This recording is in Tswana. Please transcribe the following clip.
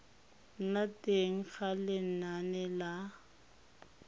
nna teng ga lenane la